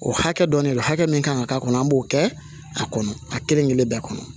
O hakɛ dɔn de don hakɛ min kan ka k'a kɔnɔ an b'o kɛ a kɔnɔ a kelen kelen bɛɛ kɔnɔ